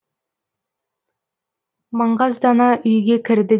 маңғаздана үйге кірді